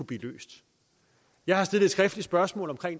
blive løst jeg har stillet et skriftligt spørgsmål om